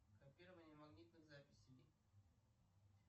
копирование магнитных записей